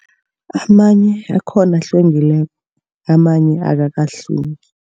Amanye akhona ahlwengileko. Amanye akakahlwengi